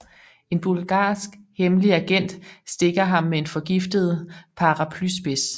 En bulgarsk hemmelig agent stikker ham med en forgiftet paraplyspids